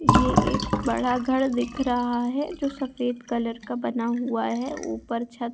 ये एक बडा घर दिख रहा है जो सफेद कलर का बना हुआ है ऊपर छत --